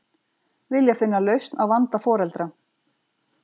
Vilja finna lausn á vanda foreldra